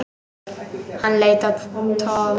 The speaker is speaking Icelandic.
Hann leit á Tom.